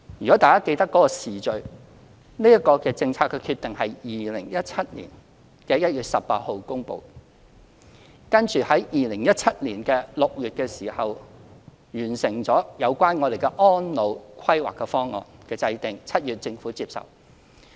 若大家記得有關時序，這個政策決定是於2017年1月18日發表的2017年施政報告公布，接着在2017年6月完成制定《安老服務計劃方案》，其後政府接受。